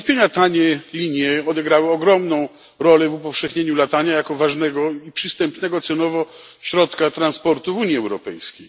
Bez wątpienia tanie linie odegrały ogromną rolę w upowszechnieniu latania jako ważnego i przystępnego cenowo środka transportu w Unii Europejskiej.